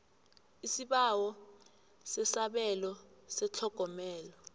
isibawo sesabelo setlhogomelo